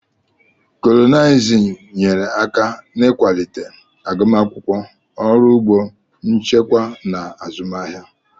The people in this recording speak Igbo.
Kolonịalizim nyere aka n'ịkwalite agụmakwụkwọ, ọrụ ugbo, nchịkwa na azụmahịa.